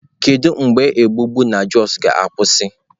Kedu mgbe ogbugbu na Jos ga-akwụsị?